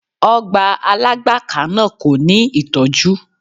Ọgbà Alágbàká náà kò ní ìtọ́jú.